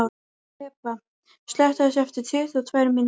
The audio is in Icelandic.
Hebba, slökktu á þessu eftir tuttugu og tvær mínútur.